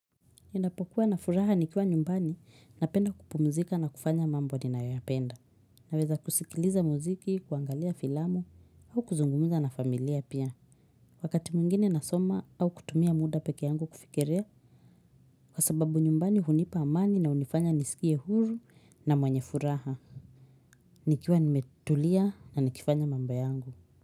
Ninapokuwa na furaha nikiwa nyumbani napenda kupumzika na kufanya mambo ninayoyapenda. Naweza kusikiliza muziki, kuangalia filamu au kuzungumza na familia pia. Wakati mwingine nasoma au kutumia muda pekee yangu kufikiria kwa sababu nyumbani hunipa amani na hunifanya nisikie huru na mwenye furaha. Nikiwa nimetulia na nikifanya mambo yangu.